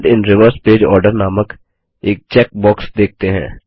print in reverse page order नामक एक check box देखते हैं